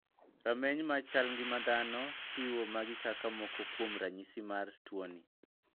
Rameny mar chal ng'ima dhano chiwo magi kaka moko kuom ranyisi mar tuoni.